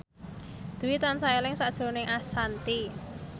Dwi tansah eling sakjroning Ashanti